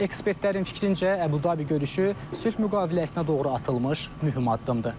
Ekspertlərin fikrincə Əbu-Dabi görüşü sülh müqaviləsinə doğru atılmış mühüm addımdır.